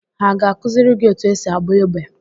Ha ga-akụziri gị otú esi agba egbe?